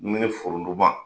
Dumunin foronto ma.